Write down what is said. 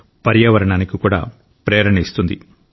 పర్యావరణానికి కూడా ప్రేరణ ఇస్తుంది